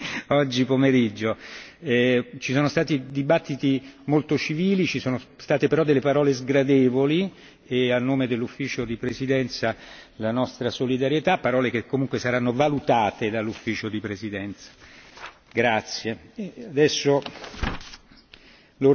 La ringrazio anche per la lunga maratona che l'ha impegnata oggi pomeriggio. Ci sono stati dibattiti molto civili, ci sono state però delle parole sgradevoli e a nome dell'Ufficio di presidenza le esprimo la nostra solidarietà parole che comunque saranno valutate dall'Ufficio di presidenza.